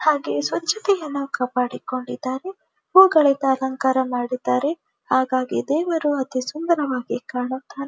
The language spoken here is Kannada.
ಹಾಗೆ ಸ್ವಚ್ಛತೆಯನ್ನು ಕಾಪಾಡಿಕೊಂಡಿದ್ದಾರೆ ಹೂವುಗಳಿಂದ ಅಲಂಕಾರ ಮಾಡಿದರೆ ಹಾಗಾಗಿ ದೇವರು ಅತಿ ಸುಂದರವಾಗಿ ಕಾಣುತ್ತಾರೆ.